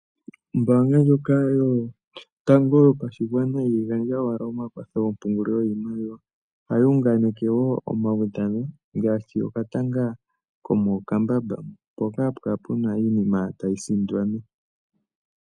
Ombanga ndjoka yotango yopashigwana ihayi gandja owala omakwatho goompungililo giishimaliwa ashike ohayi unganeke wo omawudhano. Ngaashi etanga lyomokambamba mpoka hapu kala puna iinima tayi sindanwa.